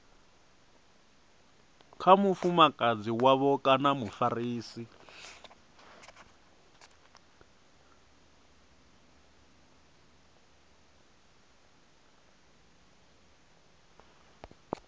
kha mufumakadzi wavho kana mufarisi